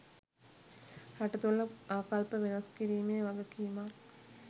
රට තුළ ආකල්ප වෙනස් කිරීමේ වගකීමක්